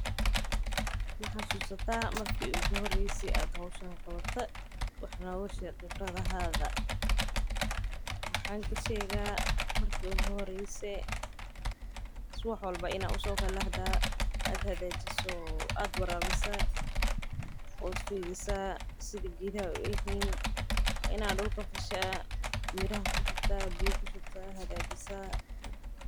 Ma xasusata marki ugu horeysey ad hawshan qawata wax nooga sheg QIbradahada, maxan ka shega marki ugu horeysey suwax walba ina u sookalahda aad hagajiso, aad warabisa ood fiirisa sida geedaha u egyihin waa ina dulka fasha miraha kurida biyaha kushubta hagajisa.